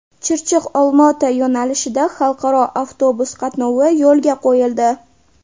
Chirchiq Olmaota yo‘nalishida xalqaro avtobus qatnovi yo‘lga qo‘yildi.